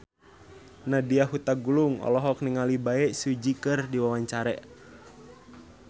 Nadya Hutagalung olohok ningali Bae Su Ji keur diwawancara